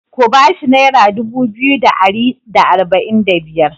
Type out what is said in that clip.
Ku ba shi naira dubu biyu da ari da arba'in da biyar!